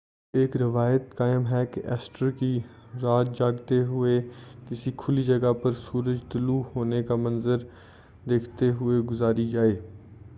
ایک روایت قائم ہے کہ ایسٹر کی رات جاگتے ہوئے کسی کھلی جگہ پر سورج طلوع ہونے کا منظر دیکھتے ہوئے گزاری جائے